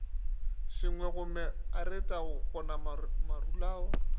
sengwegommega arate go goma marulao